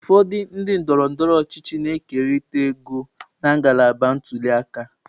Ụfọdụ ndị ndọrọ ndọrọ ọchịchị na-ekerịta ego na ngalaba ntuli aka.